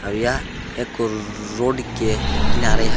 और यह एक रो रोड के किनारे है।